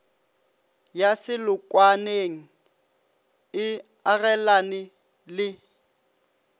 ya selokwaneng e agelane le